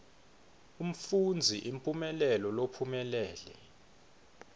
umfundzi imphumelelo lophumelele